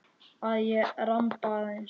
Að ég ramba aðeins.